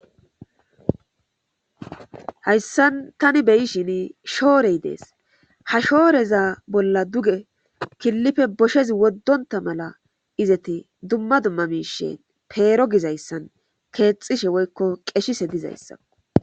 hayssan tani beyishin shoorey dees ha shooreza bolla duge killife boshezi woddonta mala izeti dumma dumma miishen peero gizayssan keexishe woykko qeshise dizayssa